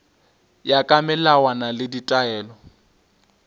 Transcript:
ya ka melawana le ditaelo